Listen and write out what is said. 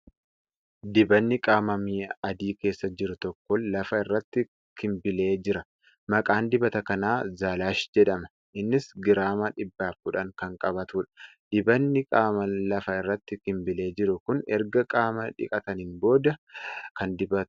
Dibanni qaamaa mi'a adii keessa jiru tokko lafa irratti kimbilee jira. Maqaan dibata kanaa ' Zaalaash jedhama .Innis giraama 110 kan qabatudha . Dibanni qaamaa lafa irratti kimbilee jiru kun erga qaama dhiqataniin booda kan dibatamudha.